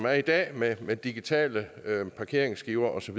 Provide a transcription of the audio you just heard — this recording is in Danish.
er i dag med med digitale parkeringsskiver osv